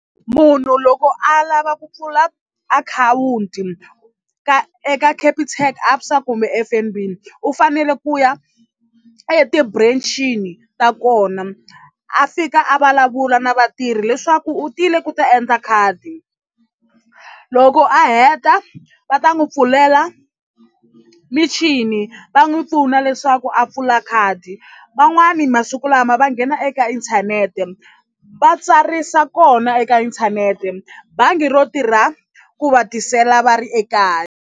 Munhu loko a lava ku pfula akhawunti ka eka Capitec ABSA kumbe F_N_B u fanele ku ya e ti-branch-ini ta kona a fika a vulavula na vatirhi leswaku u tile ku ta endla khadi loko a heta va ta n'wi pfulela michini va n'wi pfuna leswaku a pfula khadi van'wani masiku lama va nghena eka inthanete va tsarisa kona eka inthanete bangi ro tirha ku va tisela va ri ekaya.